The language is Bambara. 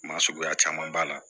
Maa suguya caman b'a la